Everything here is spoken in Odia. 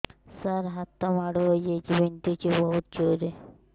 ସାର ହାତ ମାଡ଼ ହେଇଯାଇଛି ବିନ୍ଧୁଛି ବହୁତ ଜୋରରେ